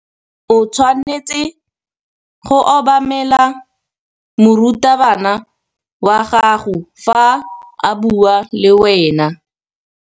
O tshwanetse go obamela morutabana wa gago fa a bua le wena.